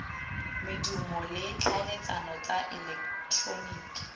medumo le tlhaeletsano tsa eleketeroniki